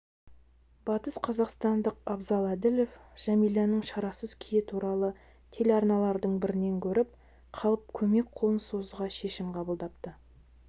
батысқазақстандық абзал әділов жәмиланың шарасыз күйі туралы телеарналардың бірінен көріп қалып көмек қолын созуға шешім қабылдапты